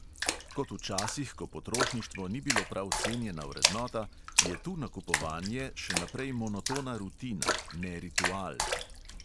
Kot v časih, ko potrošništvo ni bilo prav cenjena vrednota, je tu nakupovanje še naprej monotona rutina, ne ritual.